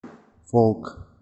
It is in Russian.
фолк